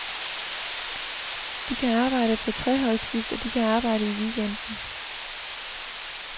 De kan arbejde på treholdsskift, og de kan arbejde i weekenden.